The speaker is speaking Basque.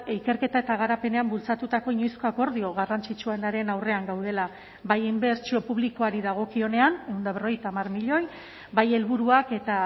ikerketa eta garapenean bultzatutako inoizko akordio garrantzitsuenaren aurrean gaudela bai inbertsio publikoari dagokionean ehun eta berrogeita hamar milioi bai helburuak eta